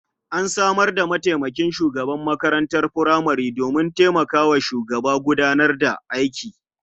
An samar da mataimakin shugaban makarantar furamare domin taimaka wa shugaba gudanar da aiki.